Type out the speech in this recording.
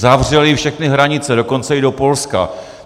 Zavřeli všechny hranice, dokonce i do Polska!